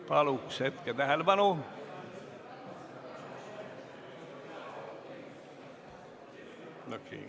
Paluks hetkeks tähelepanu!